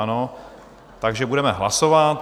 Ano, takže budeme hlasovat.